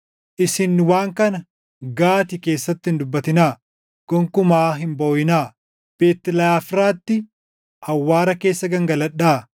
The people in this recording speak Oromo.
Isin waan kana Gaati keessatti hin dubbatinaa; gonkumaa hin booʼinaa. Beet Leʼafraatti, awwaara keessa gangaladhaa.